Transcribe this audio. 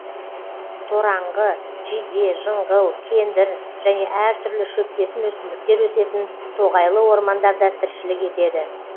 тораңғы жиде жыңғыл кендір және әр түрлі шөптесін өсімдіктер өсетін тоғайлы ормандарда тіршілік етеді